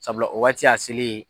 Sabula o waati y'a selen ye